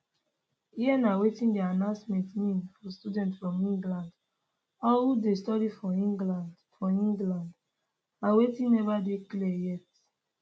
here na wetin di announcement mean for students from england or who dey study for england for england and wetin neva dey clear yet